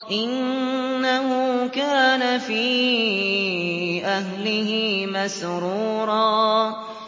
إِنَّهُ كَانَ فِي أَهْلِهِ مَسْرُورًا